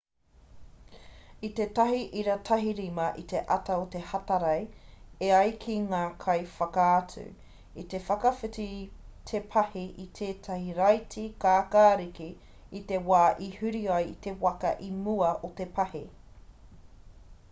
i te 1.15 i te ata o te hatarei e ai ki ngā kaiwhakaatu i te whakawhiti te pahi i tētahi raiti kākāriki i te wā i huri ai te waka i mua o te pahi